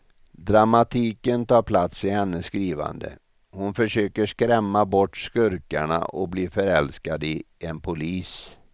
Dramatiken tar plats i hennes skrivande, hon försöker skrämma bort skurkarna och blir förälskad i en polis.